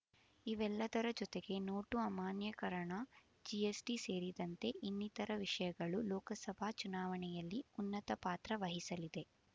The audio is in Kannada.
ಇವೆಲ್ಲದರ ಜೊತೆಗೆ ನೋಟು ಅಮಾನ್ಯೀಕರಣ ಜಿಎಸ್‌ಟಿ ಸೇರಿದಂತೆ ಇನ್ನಿತರ ವಿಷಯಗಳು ಲೋಕಸಭಾ ಚುನಾವಣೆಯಲ್ಲಿ ಉನ್ನತಪಾತ್ರ ವಹಿಸಲಿದೆ